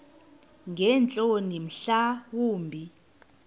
ngeentloni mhla wumbi